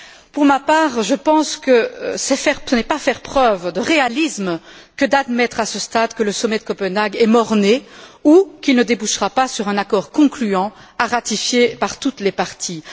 Pour ma part, je pense que ce n'est pas faire preuve de réalisme que d'admettre à ce stade que le sommet de Copenhague est mort né ou qu'il ne débouchera pas sur un accord concluant à ratifier par toutes les parties.